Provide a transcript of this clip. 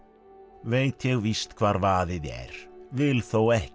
veit ég víst hvar vaðið er vil þó ekki